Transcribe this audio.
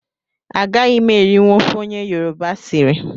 Agaghị m erinwu ofe onye yoroba siri